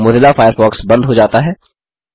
Mozilla Firefox बंद हो जाता है